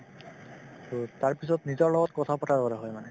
তাৰপিছত নিজৰ লগত কথা পতাৰ দৰে হয় মানে